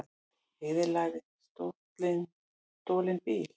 Eyðilagði stolinn bíl